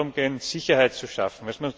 Es muss darum gehen, Sicherheit zu schaffen.